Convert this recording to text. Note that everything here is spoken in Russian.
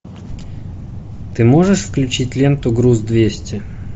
ты можешь включить ленту груз двести